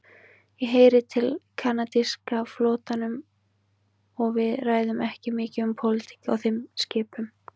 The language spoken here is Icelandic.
Ég heyri til kanadíska flotanum og við ræðum ekki mikið um pólitík á þeim skipum.